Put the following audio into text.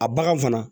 A bagan fana